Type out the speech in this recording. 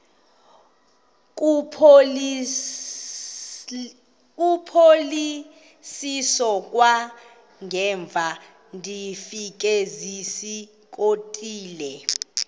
kuphosiliso kwangaemva ndafikezizikotile